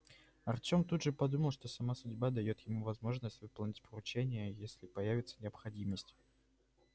артём тут же подумал что сама судьба даёт ему возможность выполнить поручение если появится необходимость